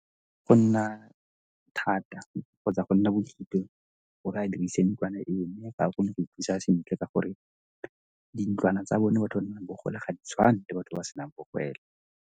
Go nna thata kgotsa go nna gore a dirise ntlwana eo mme ga ba kgone go mo thusa sentle ka gore di ntlwana tsa bone batho nang le bogole ga di tshwane le batho ba senang bogela.